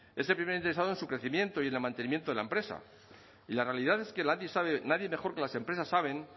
es el primer interesado en su crecimiento y en el mantenimiento de la empresa y la realidad es que nadie mejor que las empresas saben